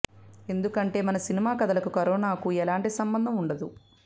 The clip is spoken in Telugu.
ఎందుకంటే మన సినిమా కథలకు కరోనాకు ఎలాంటి సంబంధం ఉండదు